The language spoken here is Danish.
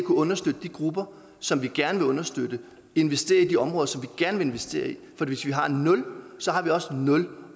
understøtte de grupper som vi gerne vil understøtte og investere i de områder som vi gerne vil investere i for hvis vi har nul har vi også nul